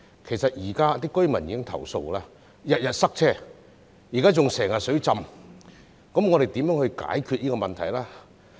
其實，現時當區居民已不斷投訴經常塞車，最近還經常水浸，我們如何解決這個問題呢？